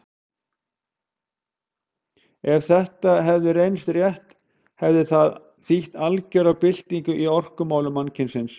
Ef þetta hefði reynst rétt hefði það þýtt algera byltingu í orkumálum mannkynsins.